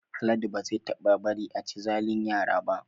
Haladu ba zai taɓa bari a chi zalin yara ba